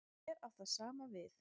Hér á það sama við.